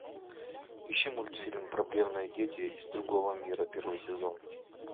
ищи мультфильм проблемные дети из другого мира первый сезон